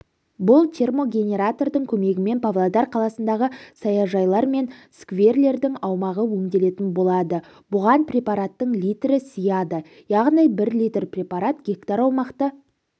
бұл термогенератордың көмегімен павлодар қаласындағы саяжайлар мен скверлердің аумағы өңделетін болады бұған препараттың литрі сыяды яғни бір литр препарат гектар аумақты